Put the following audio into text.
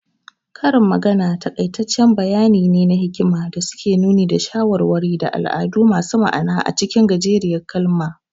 Karin magana takaitattun bayani ne na hikima da suke nuni da shawarwari, da al'adu masu ma'ana acikin gajeriyar kalma.